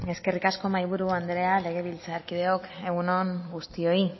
zurea da hitza eskerrik asko mahaiburu anderea legebiltzarkideok egun on guztioi